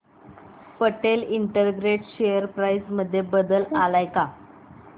Patel integrate share price मध्ये बदल आलाय का